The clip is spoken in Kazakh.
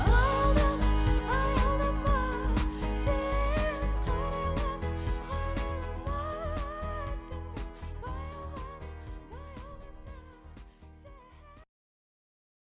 аялдама сен қарайлама қарайлама артыңа